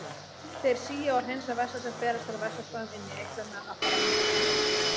Þeir sía og hreinsa vessa sem berast frá vessaæðum inn í eitlana af framandi efnum.